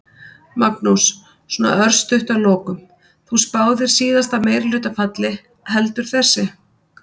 Magnús: Svona örstutt að lokum, þú spáðir síðasta meirihluta falli, heldur þessi?